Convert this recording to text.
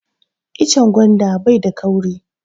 Icen gwanda bai da kauri